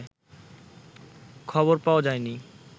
খবর পাওয়া যায়নি